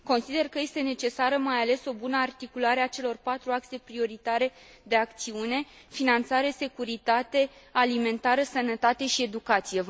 Consider că este necesară mai ales o bună articulare a celor patru axe prioritare de acțiune finanțare, securitate, alimentare, sănătate și educație.